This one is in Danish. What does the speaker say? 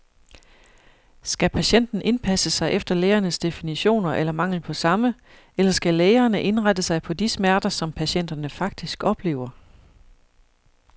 Skal patienten indpasse sig efter lægernes definitioner eller mangel på samme, eller skal lægerne indrette sig på de smerter, som patienterne faktisk oplever?